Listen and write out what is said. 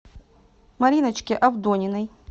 мариночке авдониной